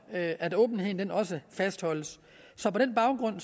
at at åbenheden også fastholdes så på den baggrund